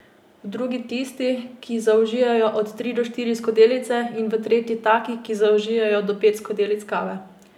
V drugi tisti, ki zaužijejo od tri do štiri skodelice, in v tretji taki, ki zaužijejo do pet skodelic kave.